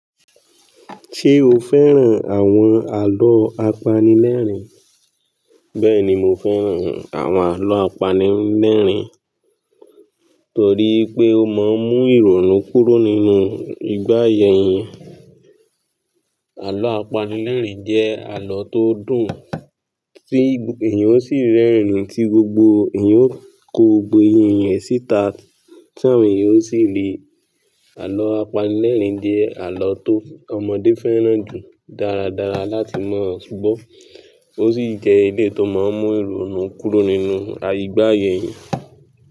Ṣé o fẹ́ràn àwọn àlọ́ apanilẹ́rìn? Bẹ́ẹ̀ni, mo fẹ́ràn àwọn àlọ́ apanilẹ́rìn. Torí pé ó máa ń mú ìrònú kúrò nínú ìgbà aya eniyan. Àlọ́ apanilẹ́rìn jẹ́ àlọ́ tó dùn, tí èèyàn ó sì rẹ́rìn-ín, tí gbogbo èèyàn ó kó gbogbo eyín rẹ̀ síta. Ti awọn èèyàn ó sì le àlọ́ apanilẹ́rìn jẹ́ àlọ́ ti ọmọdé fẹ́ràn jù dáradára láti mọ̀ ṣùgbọ́n ó sì jẹ́ ilé tó máa ń mú ìrònú kúrò nínú igba aya eniyan.